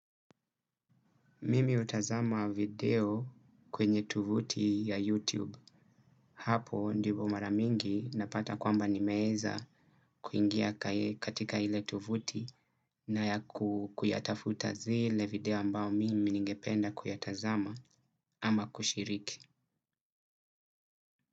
Mimi utazama video kwenye tovuti ya YouTube. Hapo ndivo maramingi napata kwamba nimeeza kuingia katika ile tovuti na ya kuyatafuta zile video ambao mimi ningependa kuyatazama ama kushiriki.